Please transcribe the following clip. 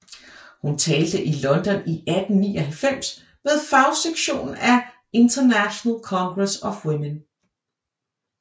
Hun talte i London i 1899 ved fagsektionen af International Congress of Women